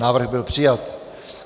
Návrh byl přijat.